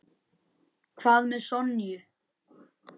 Hvað með Sonju?